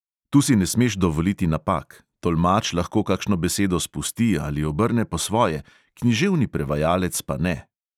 Tu si ne smeš dovoliti napak; tolmač lahko kakšno besedo spusti ali obrne po svoje, književni prevajalec pa ne.